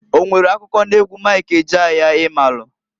O nwere akụkọ n'egwu Mik Ejeaya i maalụ?